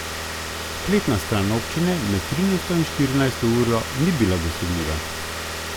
Spletna stran občine med trinajsto in štirinajsto uro ni bila dosegljiva.